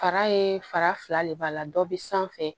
Fara ye fara fila de b'a la dɔ bɛ sanfɛ